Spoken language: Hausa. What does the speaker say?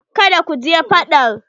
Kada ku je fadaɗ.